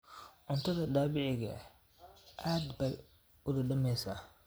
Cuntada dabiiciga ahi aad bay u dhadhamaysaa.